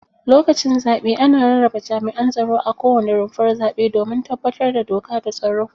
Lokacin zaɓe ana rarraba jami'an tsaro a kowane rumfar zaɓe domin tabbatar da doka da tsaro.